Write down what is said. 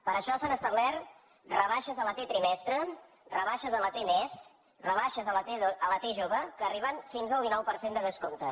per això s’han establert rebaixes a la t trimestre rebaixes a la t mes rebaixes a la t jove que arriben fins al dinou per cent de descompte